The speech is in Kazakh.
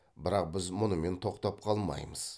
бірақ біз мұнымен тоқтап қалмаймыз